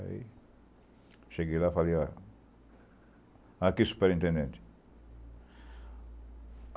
Aí cheguei lá e falei, ó... Aqui superintendente.